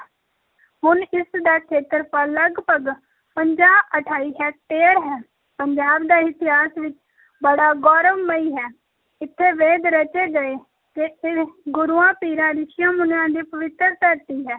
ਹੁਣ ਇਸ ਦਾ ਖੇਤਰਫਲ ਲਗਪਗ ਪੰਜਾਹ ਅਠਾਈ ਹੈਕਟੇਅਰ ਹੈ, ਪੰਜਾਬ ਦਾ ਇਤਿਹਾਸ ਵੀ ਬੜਾ ਗੌਰਵਮਈ ਹੈ, ਇੱਥੇ ਵੇਦ ਰਚੇ ਗਏ ਤੇ ਇਹ ਗੁਰੂਆਂ, ਪੀਰਾਂ, ਰਿਸ਼ੀਆਂ-ਮੁਨੀਆਂ ਦੀ ਪਵਿੱਤਰ ਧਰਤੀ ਹੈ।